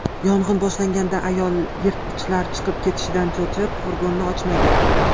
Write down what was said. Yong‘in boshlanganda ayol yirtqichlar chiqib ketishidan cho‘chib, furgonni ochmagan.